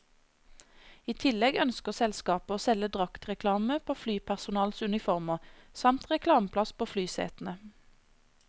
I tillegg ønsker selskapet å selge draktreklame på flypersonalets uniformer, samt reklameplass på flysetene.